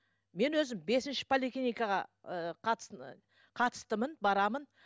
мен өзім бесінші поликлиникаға ы қатыстымын барамын